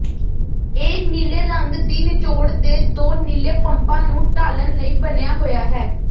ਇਹ ਨੀਲੇ ਰੰਗ ਦੀ ਨਿਚੋੜ ਦੇ ਦੋ ਨੀਲੇ ਪੰਪਾਂ ਨੂੰ ਢਾਲਣ ਲਈ ਬਣਿਆ ਹੋਇਆ ਹੈ